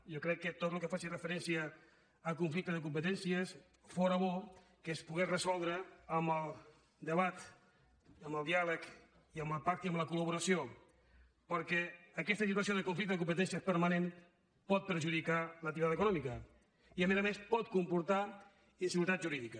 jo crec que tot el que faci referència a conflicte de competències fóra bo que es pogués resoldre amb el debat amb el diàleg i amb el pacte i amb la col·laboració perquè aquesta situació de conflicte de competències permanent pot perjudicar l’activitat econòmica i a més a més pot comportar inseguretat jurídica